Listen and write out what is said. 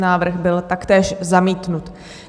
Návrh byl taktéž zamítnut.